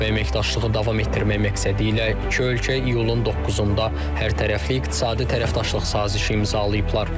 Əməkdaşlığı davam etdirmək məqsədilə iki ölkə iyulun 9-da hərtərəfli iqtisadi tərəfdaşlıq sazişi imzalayıblar.